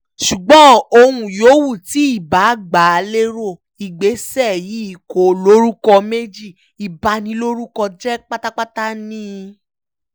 ṣùgbọ́n ohun yòówù tí ìbáà gbà lérò ìgbésẹ̀ yìí kò lórúkọ méjì ìbanilórúkọjẹ́ pátápátá ni